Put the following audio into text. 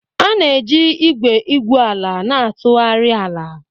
A na-eji igwe igwu ala na-atụgharị ala.